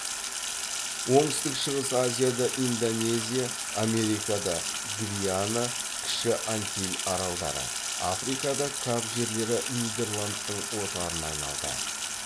оңтүстік шығыс азияда индонезия америкада гвиана кіші антиль аралдары африкада кап жерлері нидерландтың отарына айналды